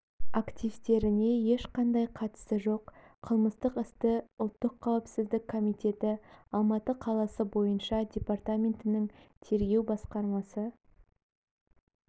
активтеріне ешқандай қатысы жоқ қылмыстық істі ұлттық қауіпсіздік комитеті алматы қаласы бойынша департаментінің тергеу басқармасы